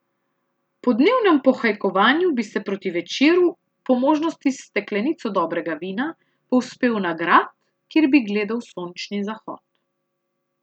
Po dnevnem pohajkovanju bi se proti večeru, po možnosti s steklenico dobrega vina, povzpel na grad, kjer bi gledal sončni zahod.